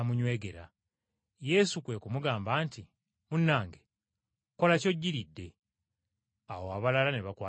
Yesu kwe kumugamba nti. “Munnange, kola ky’ojjiridde.” Awo abalala ne bakwata Yesu.